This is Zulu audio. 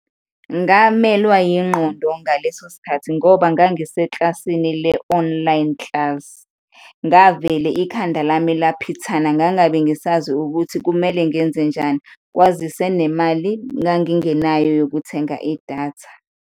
Ngamelwa yingqondo ngaleso sikhathi ngoba ngangiseklasinsi le-online class, ngavele ikhanda lami laphithana, ngangabe ngisazi ukuthi kumele ngenzenjani, kwazise nemali ngangingenayo yokuthenga idatha.